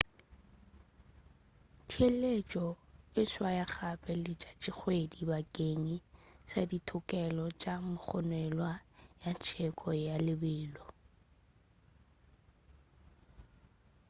theeletšo e swaya gape letšatšikgwedi bakeng sa thokelo ya mogononelwa ya tsheko ya lebelo